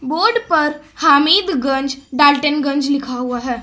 Board पर हामिदगंज डाल्टनगंज लिखा हुआ है।